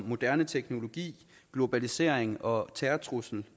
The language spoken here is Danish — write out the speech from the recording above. moderne teknologi globalisering og terrortrussel